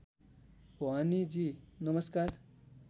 भवानीजी नमस्कार